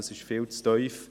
Dies ist viel zu tief.